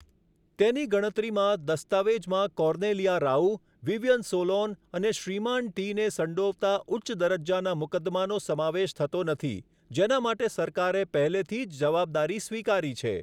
તેની ગણતરીમાં, દસ્તાવેજમાં કોર્નેલિયા રાઉ, વિવિયન સોલોન અને 'શ્રીમાન ટી' ને સંડોવતા ઉચ્ચ દરજ્જાના મુકદ્દમાનો સમાવેશ થતો નથી, જેના માટે સરકારે પહેલેથી જ જવાબદારી સ્વીકારી છે.